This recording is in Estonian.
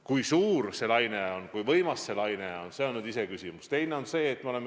Kui suur uus laine on, kui võimas see laine on, on muidugi iseküsimus.